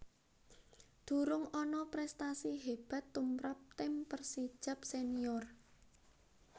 Durung ana prèstasi hébat tumrap tim Persijap Senior